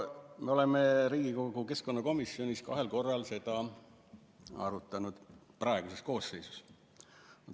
Me oleme Riigikogu keskkonnakomisjonis kahel korral seda arutanud, praeguses koosseisus.